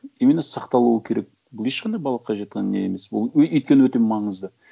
именно сақталуы керек бұл ешқандай балаққа не емес бұл өйткені өте маңызды